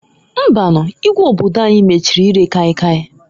Mbanuǃ Igwe obodo anyi mechiri ire kai kai.